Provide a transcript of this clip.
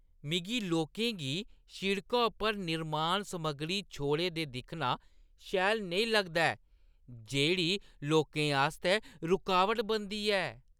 मिगी लोकें गी शिड़का उप्पर निर्माण-समगरी छोड़े दे दिक्खना शैल नेईं लगदा ऐ जेह्ड़ी लोकें आस्तै रकावट बनदी ऐ।